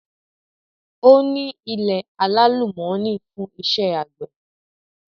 Ó ní ilẹ̀ alálùmọ́nì fún iṣẹ́ àgbẹ̀.